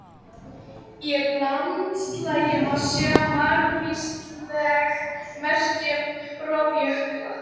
Í landslagi má sjá margvísleg merki um rof jökla.